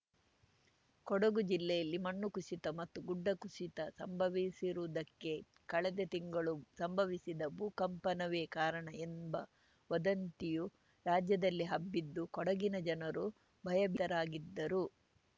ಕೊಡಗು ಜಿಲ್ಲೆಯಲ್ಲಿ ಮಣ್ಣು ಕುಸಿತ ಮತ್ತು ಗುಡ್ಡ ಕುಸಿತ ಸಂಭವಿಸಿರುವುದಕ್ಕೆ ಕಳೆದ ತಿಂಗಳು ಸಂಭವಿಸಿದ ಭೂಕಂಪನವೇ ಕಾರಣ ಎಂಬ ವದಂತಿಯು ರಾಜ್ಯದಲ್ಲಿ ಹಬ್ಬಿದ್ದು ಕೊಡಗಿನ ಜನರು ಭಯಭೀತರಾಗಿದ್ದರು